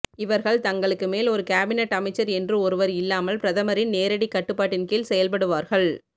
இவர்கள் தங்களுக்கு மேல் ஒரு கேபினட் அமைச்சர் என்று ஒருவர் இல்லாமல் பிரதமரின் நேரடிக் கட்டுப்பாட்டின் கீழ் செயல்படுவார்கள்